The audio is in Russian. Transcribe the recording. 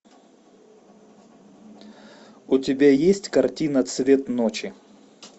у тебя есть картина цвет ночи